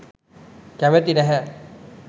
කැමැති නැහැ.